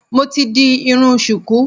Mo ti di irun ṣùkú